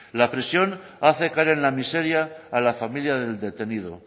la presión hacer caer en la miseria a la familia del detenido